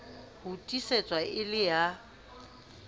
ho tiisetswa e le ya